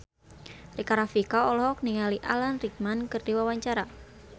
Rika Rafika olohok ningali Alan Rickman keur diwawancara